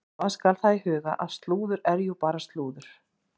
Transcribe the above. Hafa skal það í huga að slúður er jú bara slúður.